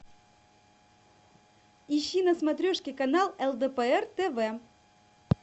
ищи на смотрешке канал лдпр тв